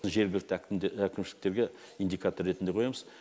жергілікті әкімшіліктерге индикатор ретінде қоямыз